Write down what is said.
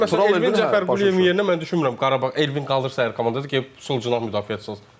Amma yəni məsələn Elvin Cəfərquliyevin yerinə mən düşünmürəm Qarabağ, Elvin qalırsa əgər komandada, gedib sol cinah müdafiəçisi alsın.